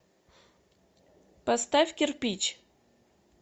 поставь кирпич